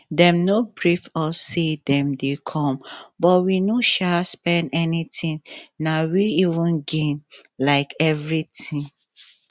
dem no brief us say dem dey come but we no sha spend anything na we even gain um everything